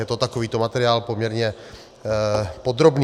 Je to takovýto materiál, poměrně podrobný.